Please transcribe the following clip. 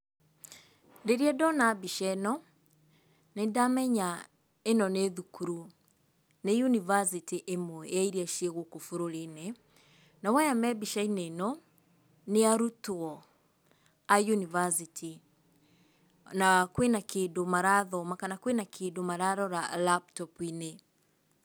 Rĩrĩa ndona mbica ĩno, nĩ ndamenya ĩno nĩ thukuru. Nĩ university ĩmwe ya iria ciĩ gũkũ bũrũri-inĩ. Nao aya me mbica-inĩ ĩno, nĩ arutwo a university, na kwĩna kĩndũ marathoma kana kwĩna kĩndũ mararora laptop -inĩ.